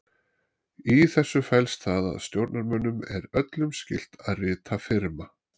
Í þessu felst það að stjórnarmönnum eru öllum skylt að rita firma.